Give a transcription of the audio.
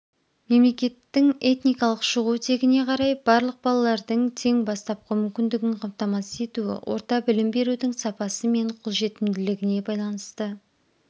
мемлекеттің этникалық шығу тегіне қарай барлық балалардың тең бастапқы мүмкіндігін қамтамасыз етуі орта білім берудің сапасы мен қолжетімділігіне байланысты